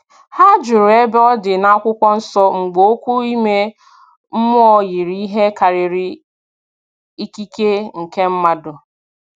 Ha jụrụ ebe ọ dị n'akwụkwọ nsọ mgbe okwu ime mmụọ yiri ihe karịrị ikike nke mmadụ